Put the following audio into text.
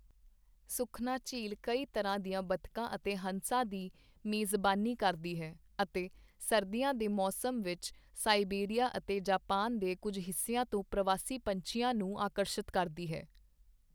ਸੁਖਨਾ ਝੀਲ ਕਈ ਤਰ੍ਹਾਂ ਦੀਆਂ ਬੱਤਖਾਂ ਅਤੇ ਹੰਸਾਂ ਦੀ ਮੇਜ਼ਬਾਨੀ ਕਰਦੀ ਹੈ ਅਤੇ ਸਰਦੀਆਂ ਦੇ ਮੌਸਮ ਵਿੱਚ ਸਾਈਬੇਰੀਆ ਅਤੇ ਜਪਾਨ ਦੇ ਕੁਝ ਹਿੱਸਿਆਂ ਤੋਂ ਪ੍ਰਵਾਸੀ ਪੰਛੀਆਂ ਨੂੰ ਆਕਰਸ਼ਿਤ ਕਰਦੀ ਹੈ।